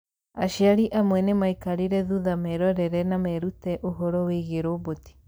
Aciari amwe nĩ maikarire thutha merorere na merute ũhoro wĩgiĩ roboti